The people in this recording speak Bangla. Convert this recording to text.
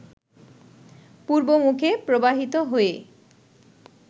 পূর্বমুখে প্রবাহিত হয়ে